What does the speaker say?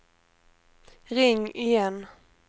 ring igen